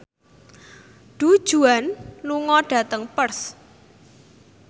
Du Juan lunga dhateng Perth